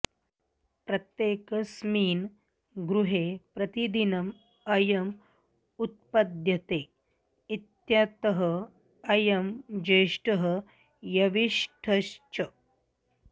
प्रत्येकस्मिन् गृहे प्रतिदिनम् अयम् उत्पद्यते इत्यतः अयं ज्येष्ठः यविष्ठश्च